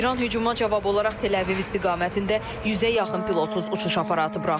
İran hücuma cavab olaraq Təl-Əviv istiqamətində 100-ə yaxın pilotsuz uçuş aparatı buraxıb.